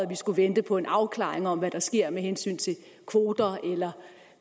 vi skulle vente på en afklaring om hvad der sker med hensyn til kvoter eller